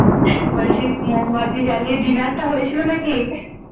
বলছি মোমবাতি জ্বালিয়ে Dinner টা হয়েছিল নাকি?